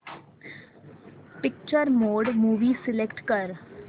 picture mode movie select कर